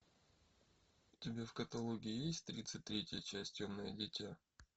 у тебя в каталоге есть тридцать третья часть темное дитя